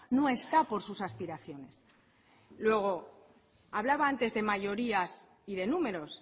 no está por sus aspiraciones luego hablaba antes de mayorías y de números